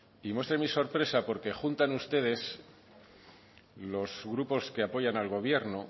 y muestre mi sorpresa porque juntan ustedes los grupos que apoyan al gobierno